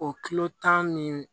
O kilo tan nin